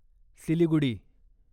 Siliguri